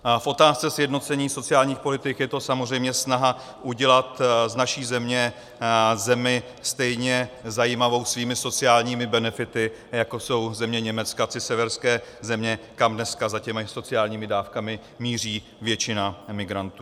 V otázce sjednocení sociálních politik je to samozřejmě snaha udělat z naší země zemi stejně zajímavou svými sociálními benefity, jako jsou země Německa či severské země, kam dneska za těmi sociálními dávkami míří většina migrantů.